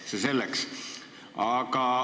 Ent see selleks.